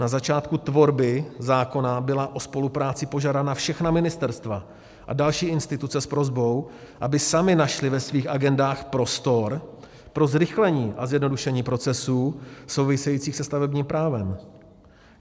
Na začátku tvorby zákona byla o spolupráci požádána všechna ministerstva a další instituce s prosbou, aby samy našly ve svých agendách prostor pro zrychlení a zjednodušení procesů souvisejících se stavebním právem.